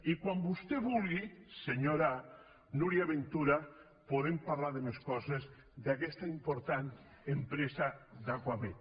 i quan vostè vulgui senyora núria ventura podem parlar de més coses d’aquesta important empresa d’acuamed